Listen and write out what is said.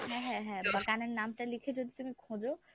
হ্যাঁ হ্যাঁ হ্যাঁ বা গানের নামটা লিখে যদি তুমি খোঁজো